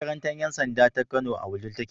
Makarantar 'yansanda taka Kano a Wudil take.